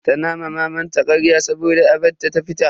Tana ma mamanta karya saboda a bar ta ta fita.